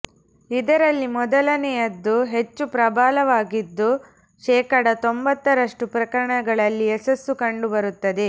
ಇದರಲ್ಲಿ ಮೊದಲನೆಯದ್ದು ಹೆಚ್ಚು ಪ್ರಬಲವಾಗಿದ್ದು ಶೇಖಡಾ ತೊಂಭತ್ತರಷ್ಟು ಪ್ರಕರಣಗಳಲ್ಲಿ ಯಶಸ್ಸು ಕಂಡುಬರುತ್ತದೆ